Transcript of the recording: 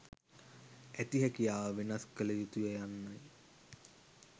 ඇති හැකියාව වෙනස් කළ යුතුය යන්නයි